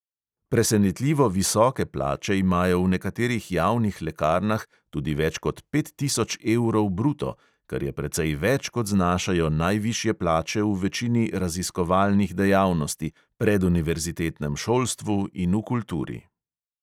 Presenetljivo visoke plače imajo v nekaterih javnih lekarnah, tudi več kot pet tisoč evrov bruto, kar je precej več, kot znašajo najvišje plače v večini raziskovalnih dejavnosti, preduniverzitetnem šolstvu in v kulturi.